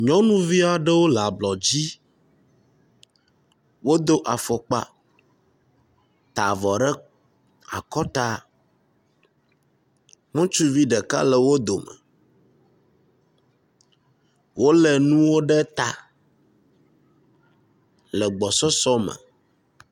Nyɔnuvi aɖewo le ablɔ dzi. Wodo afɔkpa, ta avɔ ɖe akɔta. Ŋutsuvi ɖeka le wo dome wo le nuwo ɖe ta le gbɔsɔsɔ me.